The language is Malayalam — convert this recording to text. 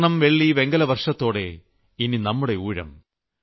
സ്വർണ്ണം വെള്ളി വെങ്കല വർഷത്തോടെ ഇനി നമ്മുടെ ഊഴം